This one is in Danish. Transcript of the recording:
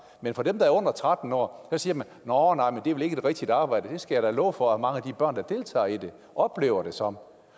men for dem der er under tretten år siger man nåh nej men det er vel ikke et rigtigt arbejde det skal jeg da love for at mange af de børn der deltager i det oplever det som